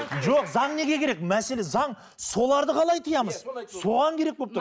жоқ заң неге керек мәселе заң соларды қалай тиямыз соған керек болып тұр